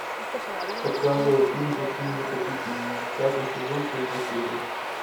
показывай фильм каким вы хотите меня пятый сезон третья серия